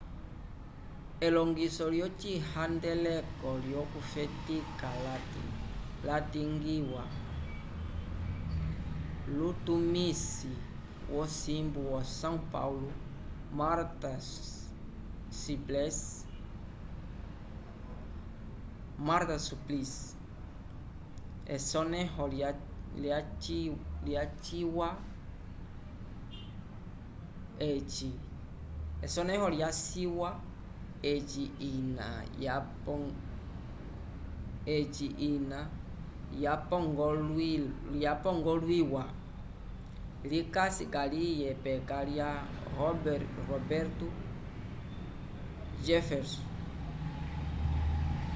elongiso lyocihandeleko lyokufetika lyalingiwa lutumisi wosimbu wo são paulo marta suplicy esonẽho lyaciwa eci ina yapongolwiwa likasi kaliye peka lya roberto jefferson